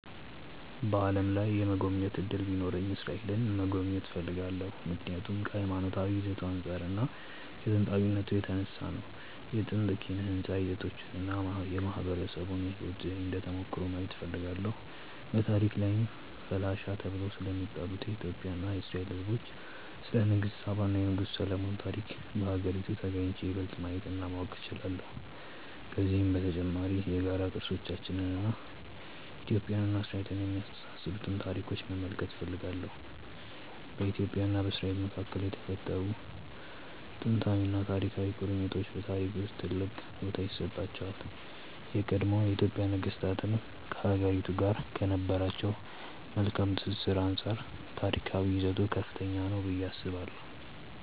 በዓለም ላይ የመጎብኘት እድሉ ቢኖረኝ እስራኤልን መጎብኘት እፈልጋለሁ። ምክንያቱም ከሀይማኖታዊ ይዘቱ አንፃር እና ከጥንታዊነቱ የተነሳ ነው። የጥንት ኪነ ህንፃ ይዘቶቹን እና የማህበረሰቡን የህይወት ዘዬ እንደ ተሞክሮ ማየት እፈልጋለሁ። በታሪክ ላይም ፈላሻ ተብለው ስለሚጠሩት የኢትዮጵያ እና የእስራኤል ህዝቦች፣ ስለ ንግስተ ሳባ እና የንጉስ ሰሎሞን ታሪክ በሀገሪቱ ተግኝቼ ይበልጥ ማየት እና ማወቅ እችላለሁ። ከዚሁም በተጨማሪ የጋራ ቅርሶቻችንን እና ኢትዮጵያን እና እስራኤልን የሚያስተሳስሩንን ታሪኮች መመልከት እፈልጋለሁ። በኢትዮጵያ እና በእስራኤል መካከል የተፈጠሩት ጥንታዊና ታሪካዊ ቁርኝቶች በታሪክ ውስጥ ትልቅ ቦታ ይሰጣቸዋል። የቀድሞ የኢትዮጵያ ነገስታትም ከሀገሪቱ ጋር ከነበራቸው መልካም ትስስር አንፃር ታሪካዊ ይዘቱ ከፍተኛ ነው ብዬ አስባለሁ።